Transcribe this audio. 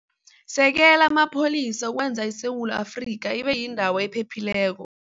Sekela Amapholisa Ukwenza ISewula Afrika Ibe Yindawo Ephephileko